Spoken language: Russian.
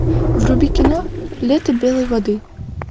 вруби кино лето белой воды